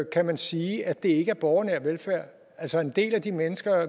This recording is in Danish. kan man sige at det ikke er borgernær velfærd altså en del af de mennesker